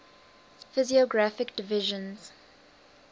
physiographic divisions